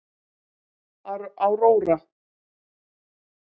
Aurora